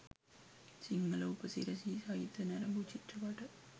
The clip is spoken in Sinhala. සිංහල උපසිරැසි සහිතව නැරඹූ චිත්‍රපට